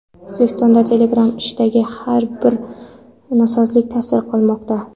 O‘zbekistonga Telegram ishidagi har bir nosozlik ta’sir qilmoqda.